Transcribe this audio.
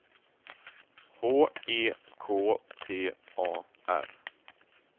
H E K T A R